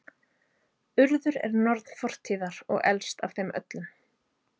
Urður er norn fortíðar og elst af þeim öllum.